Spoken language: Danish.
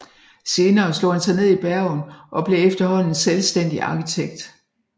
Senere slog han sig ned i Bergen og blev efterhånden selvstændig arkitekt